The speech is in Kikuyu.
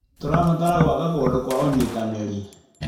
Tũrabatara gwaka kũndũ kwa ũnyitanĩri.